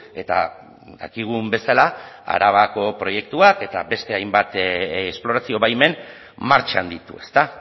eta dakigun bezala arabako proiektuak eta beste hainbat esplorazio baimen martxan ditu ezta